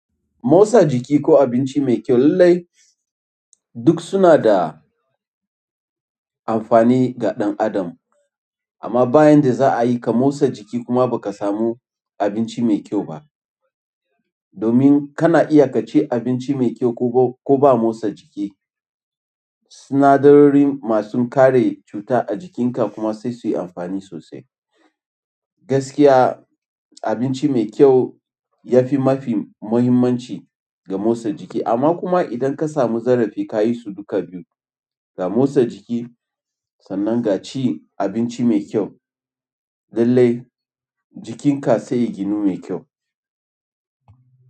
Motsa jiki ko abinci mai kyau lallai duk suna da amfani ga ɗan adam. Amma ba yanda za'a yi ka motsa jiki kuma baka samu abinci mai kyau ba, domin kana iya ka ci abinci mai kyau ko ba motsa jiki. Sinadarori masu kare cuta a jikinka kuma sai su yi amfani sosai. Gaskiya abinci mai kyau ya fi mafi muhimmanci. Ga motsa jiki. Amma kuma idan ka samu ka yi su duka biyu, ga motsa jiki, sannan ga cin abinci mai kyau. Lallai jikinka sai ya ginu mai kyau.